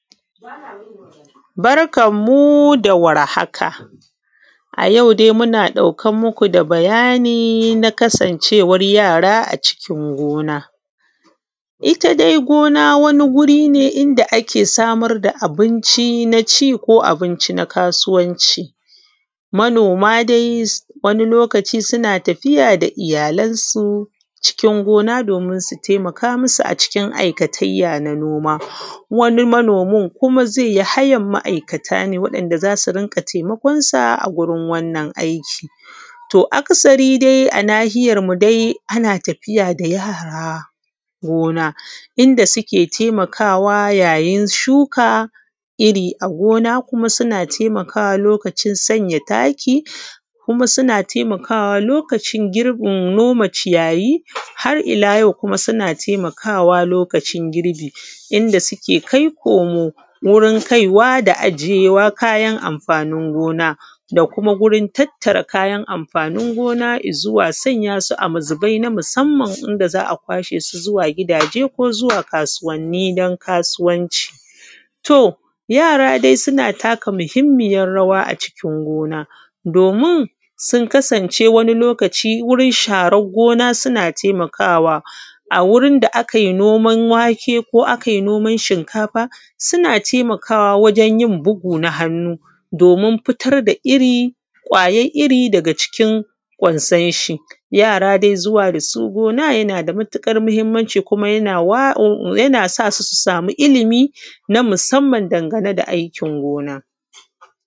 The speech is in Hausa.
Barkan mu dawar haka ayau dai muna ɗauke muku da bayani na kasan cewar yara a cikin gona. Itta gona wani guri ne inda ake samar da abinci na ci ko abunci na kasuwanci. Mano dai wani lokaci suna tafiya da iyyalansu can gona domin su taimaka musu a cikin aikatayya na noma. Wani manomin kuma zaiyi hayan ma’ika ne wa ‘yan’ da zasu rinƙa taimakonsa a gurin wannan aiki. To akasari dai a nahiyar mu daia anna tafiya da yara gona inda suke taimakawa yayin shuka irri a gona kuma suna taimakawa wajen sanya taki kuma suna taimakawa lokacin girbin noma ciyayi, har illa yau kuma suna taimakawa lokacin girbi inda suke kai komo wurin kaiwa da ajiyewa wurin amfanin gona da kuma kaiwa da ajiyewa amfanin gona da kuma gurin tattara kayan amfani gona izuwa sanya su a mazubai na musamman a kwashe su zuwa gidaje ko zuwa kasuwanni din kasuwanci. Yara dai suna taka mahimmiyar rawa a cikin gona domin sun kasance kasance wani lokaci wurin sharan gona suna taimakawa, wurin da akai noman wake ko akai noman shinka suna taimakawa wajenyin bugu na hannu domin fitar da irri kwayan irri daga kwansonshi yara dai zuwa dasu gona yanada matuƙar mahimmanci yana sasu ilimi na musamman dangane da aikin gona.